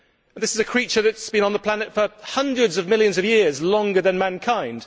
This is a creature that has been on the planet for hundreds of millions of years longer than mankind.